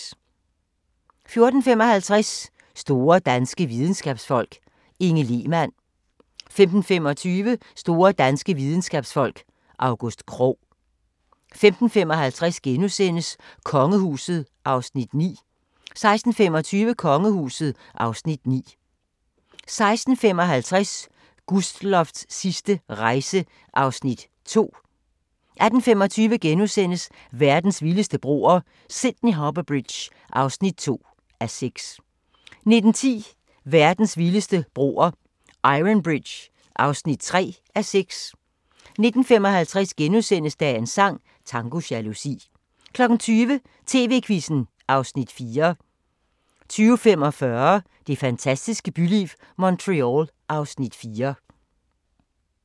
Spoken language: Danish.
14:55: Store danske videnskabsfolk: Inge Lehmann 15:25: Store danske videnskabsfolk: August Krogh 15:55: Kongehuset (Afs. 8)* 16:25: Kongehuset (Afs. 9) 16:55: Gustloffs sidste rejse (Afs. 2) 18:25: Verdens vildeste broer – Sydney Harbour Bridge (2:6)* 19:10: Verdens vildeste broer – Iron Bridge (3:6) 19:55: Dagens sang: Tango jalousi * 20:00: TV-Quizzen (Afs. 4) 20:45: Det fantastiske byliv – Montreal (Afs. 4)